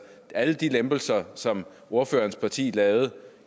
alle de lempelser som ordførerens parti lavede